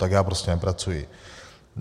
Tak já prostě nepracuji.